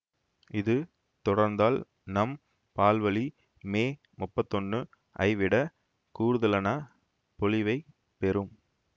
இது தொடர்ந்தால் நம் பால்வழி மே முப்பத்தி ஒன்னு ஐவிட கூடுதலன பொலிவைப் பெறும்